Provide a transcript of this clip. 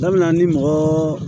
N'a bɛ na ni mɔgɔɔ